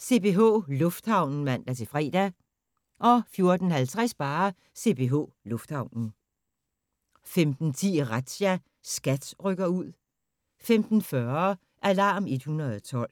CPH Lufthavnen (man-fre) 14:50: CPH Lufthavnen 15:10: Razzia – SKAT rykker ud 15:40: Alarm 112